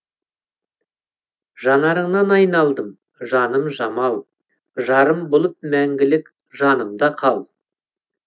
жанарыңнан айналдым жаным жамал жарым болып мәңгілік жанымда қал